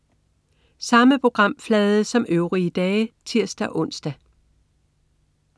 Samme programflade som øvrige dage (tirs-ons)